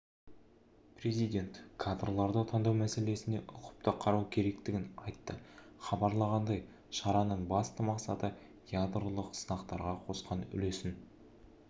президент кадрларды таңдау мәселесіне ұқыпты қарау керектігін айтты хабарлағандай шараның басты мақсаты ядролық сынақтарға қосқан үлесін